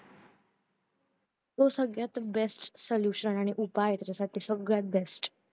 तो सगळ्यात best solution आणि उपाय आहे सगळ्यात best